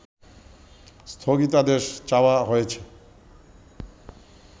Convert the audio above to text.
স্থগিতাদেশও চাওয়া হয়েছে